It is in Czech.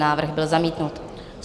Návrh byl zamítnut.